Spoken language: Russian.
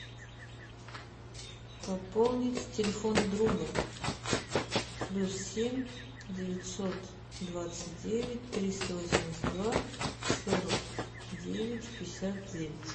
пополнить телефон друга плюс семь девятьсот двадцать девять триста восемьдесят два сорок девять пятьдесят девять